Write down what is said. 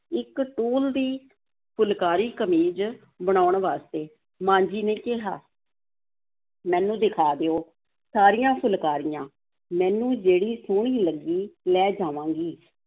ਇੱਕ ਟੂਲ ਦੀ ਫੁਲਕਾਰੀ, ਕਮੀਜ਼ ਬਣਾਉਣ ਵਾਸਤੇ, ਮਾਂ ਜੀ ਨੇ ਕਿਹਾ ਮੈਨੂੰ ਦਿਖਾ ਦਿਓ, ਸਾਰੀਆਂ ਫੁਲਕਾਰੀਆਂ, ਮੈਨੂੰ ਜਿਹੜੀ ਸੋਹਣੀ ਲੱਗੀ, ਲੈ ਜਾਵਾਂਗੀ,